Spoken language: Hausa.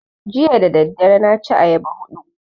Jiya dadadare na ci ayaba hudu